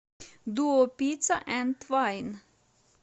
дуо пицца энд вайн